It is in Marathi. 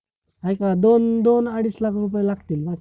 हाय का? दोन दोन अडीच लाख रुपये लागतील